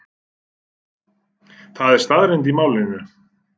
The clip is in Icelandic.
Það er staðreynd í málinu.